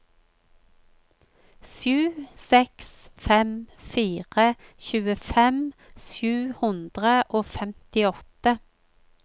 sju seks fem fire tjuefem sju hundre og femtiåtte